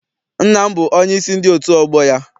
Nna m bụ onyeisi ndị otu ọgbọ ya.